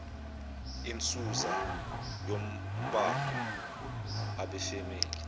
insusa yombango abefamily